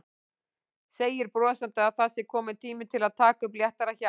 Segir brosandi að það sé kominn tími til að taka upp léttara hjal.